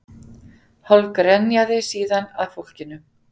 Hálf grenjaði síðan að fólkinu